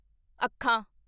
ਅੱਖਾਂ